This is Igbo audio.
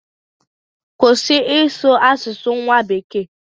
Kwụsị ịsụ asụsụ nwa bekee!